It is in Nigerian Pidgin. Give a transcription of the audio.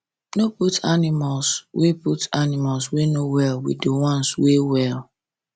no put animals wey put animals wey no well with de ones wey well